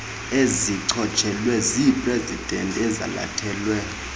ezichotshelwe ziiprezidanti ezalathelwe